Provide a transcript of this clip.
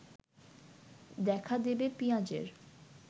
দেখা দেবে পিঁয়াজের